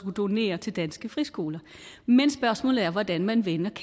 donere til danske friskoler men spørgsmålet er hvordan man vender